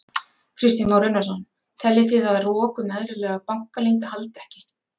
Kristján Már Unnarsson: Teljið þið að rok um eðlilega bankaleynd haldi ekki?